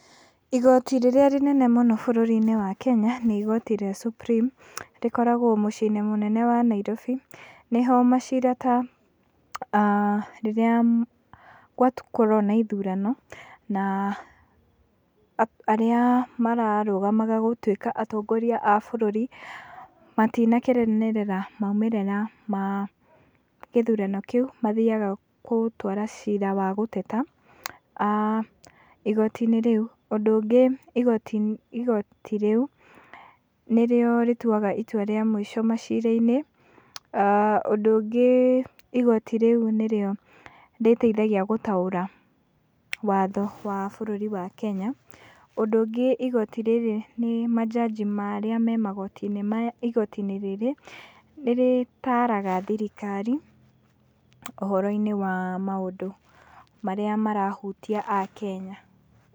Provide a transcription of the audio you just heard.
Igoti rĩrĩa rĩnene mũno bũrũri-inĩ wa Kenya nĩ igoti rĩa Supreme, rĩkoragwo mũciĩ-inĩ mũnene wa Nairobi. Nĩho macira ta rĩrĩa gwakorwo na ithurano na arĩa mararũgamaga gũtuĩka atongoria a bũrũri matinakerenerera maumĩrĩra ma gĩthurano kĩũ, mathiaga gũtwara cira wa gũteta igoti-inĩ rĩu. Ũndũ ũngĩ igoti, igoti rĩu nĩrĩo rĩtuaga itua rĩa muico macira-inĩ. Ũndũ ũngĩ igoti rĩu nĩrĩo rĩteithagia gũtaũra watho wa bũrũri wa Kenya. Ũndũ ũngĩ igoti rĩrĩ nĩ manjanji marĩo me magoti-inĩ maya, igoti-inĩ rĩrĩ nĩ rĩtaraga thirikari ũhoro-inĩ wa maũndũ marĩa marahutia Akenya.